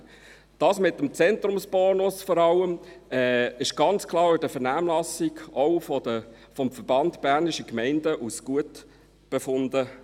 Vor allem wurde das mit dem Zentrumsbonus ganz klar auch in der Vernehmlassung vom Verband Bernischer Gemeinden (VBG) als gut befunden.